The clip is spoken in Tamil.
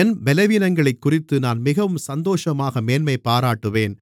என் பலவீனங்களைக்குறித்து நான் மிகவும் சந்தோஷமாக மேன்மைபாராட்டுவேன்